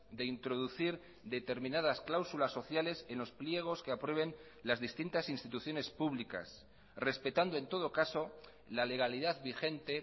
de introducir determinadas cláusulas sociales en los pliegos que aprueben las distintas instituciones públicas respetando en todo caso la legalidad vigente